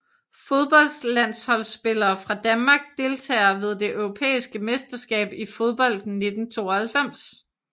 Fodboldlandsholdsspillere fra Danmark Deltagere ved det europæiske mesterskab i fodbold 1992